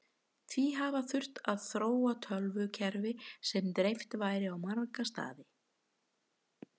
því hafi þurft að þróa tölvukerfi sem dreift væri á marga staði